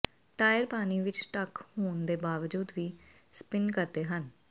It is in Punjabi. ਟਾਇਰ ਪਾਣੀ ਵਿਚ ਡਕ ਹੋਣ ਦੇ ਬਾਵਜੂਦ ਵੀ ਸਪਿਨ ਕਰਦੇ ਹਨ